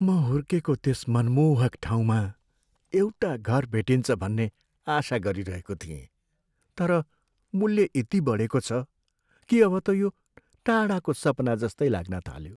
म हुर्केको त्यस मनमोहक ठाउँमा एउटा घर भेटिन्छ भन्ने आशा गरिरहेको थिएँ, तर मूल्य यति बढेको छ कि अब त यो टाढाको सपना जस्तै लाग्न थाल्यो।